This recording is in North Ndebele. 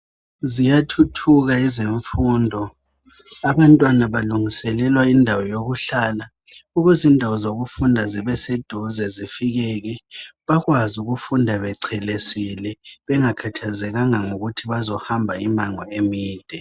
Ziyathuthuka izifundo , abantwana balungiselelwa indawo yokuhlala .Ukuze indawo zokufunda zibe seduze zifikeke ,bakwazi ukufunda becelesile. Bengakhathazekanga ngokuthi bazohamba imango emide.